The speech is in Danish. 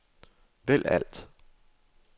vælg alt